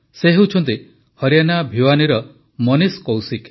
ସେ ହେଲେ ହରିଆନା ଭିୱାନୀର ମନୀଷ କୌଶିକ